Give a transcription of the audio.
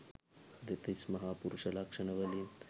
දෙතිස් මහා පුරුෂ ලක්ෂණවලින්